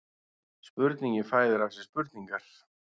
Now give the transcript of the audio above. Spurningin fæðir af sér spurningar